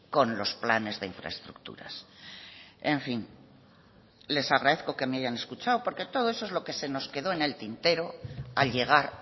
con los planes de infraestructuras en fin les agradezco que me hayan escuchado porque todo eso es lo que se nos quedó en el tintero al llegar